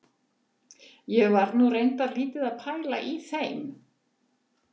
Ég var nú reyndar lítið að pæla í þeim.